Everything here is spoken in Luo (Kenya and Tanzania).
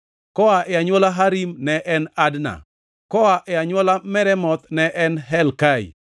koa e anywola Harim ne en Adna; koa e anywola Meremoth ne en Helkai;